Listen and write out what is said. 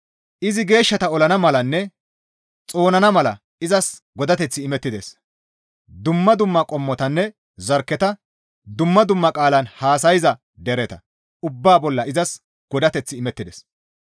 Izi geeshshata olana malanne xoonana mala izas godateththi imettides; dumma dumma qommotanne zarkketa, dumma dumma qaalan haasayza dereta ubbaa bolla izas godateththi imettides.